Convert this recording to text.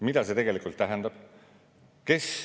Mida see tegelikult tähendab?